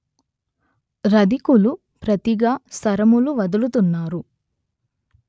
రధికులు ప్రతిగా శరములు వదులుతున్నారు